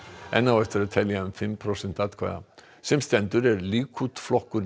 enn á eftir að telja um fimm prósent atkvæða sem stendur er Líkúd flokkur